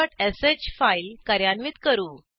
factorialश file कार्यान्वित करू